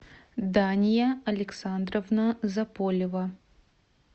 дания александровна заполева